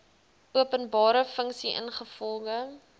openbare funksie ingevolge